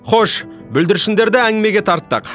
хош бүлдіршіндерді әңгімеге тарттық